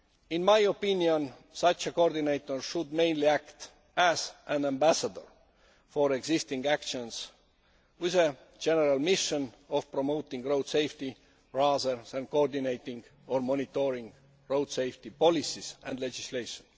In my opinion, such a coordinator should mainly act as an ambassador for existing actions, with a general mission of promoting road safety rather than coordinating or monitoring road safety policies and legislation.